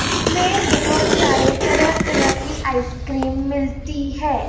इसमें बहोत सारे तरह तरह की आइसक्रीम मिलती है।